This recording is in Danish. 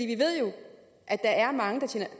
vi ved jo at der er mange